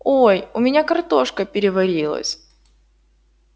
ой у меня картошка переварилась